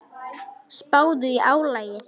Spáðu í álagið.